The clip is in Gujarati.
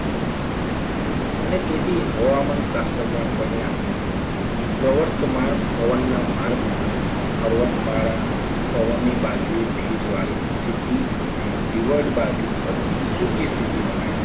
અને તેથી હવામાન શાસ્ત્રના પરિમાણો સર્વત્ર માર્ગ પવનના માર્ગમાં પર્વતમાળા પવનની બાજુએ ભેજવાળી સ્થિતી અને લીવડ બાજુ પર સૂકી સ્થિતિ બનાવે